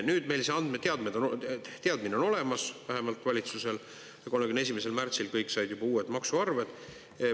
Nüüd meil see andmeteadmine on olemas, vähemalt valitsusel, ja 31. märtsil kõik said juba uued maksuarved.